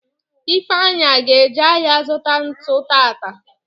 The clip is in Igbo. Ifeanyi aga eje ahịa zụta ntu taata?